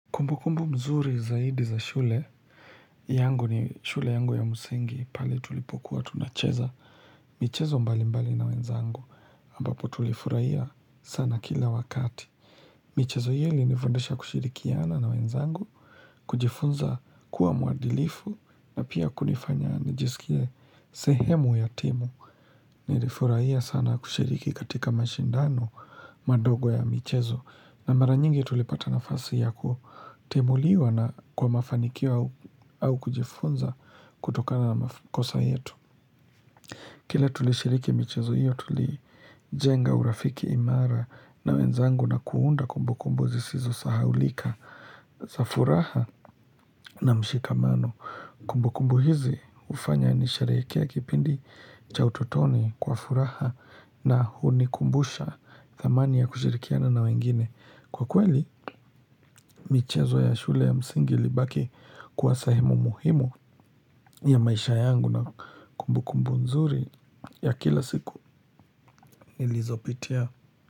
Kumbukumbu mzuri zaidi za shule yangu ni shule yangu ya msingi pale tulipokuwa tunacheza. Michezo mbali mbali na wenzangu ambapo tulifurahia sana kila wakati. Michezo hii ilinifundisha kushirikiana na wenzangu. Kujifunza kuwa mwadilifu na pia kunifanya nijisikie sehemu ya timu. Nilifurahia sana kushiriki katika mashindano madogo ya michezo. Na mara nyingi tulipata na fasi ya kutimuliwa na kwa mafanikio au kujifunza kutokana na makosa yetu. Kila tulishiriki michezo hiyo tulijenga urafiki imara na wenzangu na kuunda kumbukumbu zisizo sahaulika za furaha na mshikamano. Kumbukumbu hizi hufanya nisherehekee kipindi cha utotoni kwa furaha na hunikumbusha thamani ya kushirikiana na wengine. Kwa kweli, michezo ya shule ya msingi ilibaki kwa sehemu muhimu ya maisha yangu na kumbukumbu nzuri ya kila siku nilizopitia.